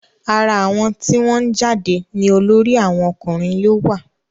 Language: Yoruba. ara àwọn tí wọ́n jáde ní olórí àwọn ọkùnrin yóò wà